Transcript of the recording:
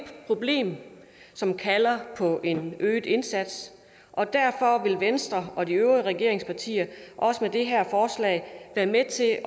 problem som kalder på en øget indsats og derfor vil venstre og de øvrige regeringspartier også med det her forslag være med til at